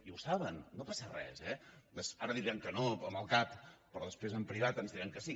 i ho saben no passa res eh ara diran que no amb el cap però després en privat ens diran que sí